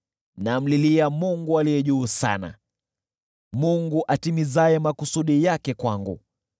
Namlilia Mungu Aliye Juu Sana, Mungu atimizaye makusudi yake kwangu.